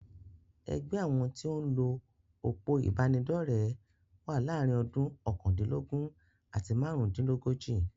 Ẹgbẹ́ àwọn tí o ń lo òpó ìbánidọ́rẹ̀ wà láàárín ọdún okandinlogun àti máàrún-dín-lógójì.